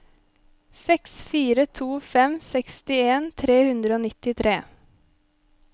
seks fire to fem sekstien tre hundre og nittitre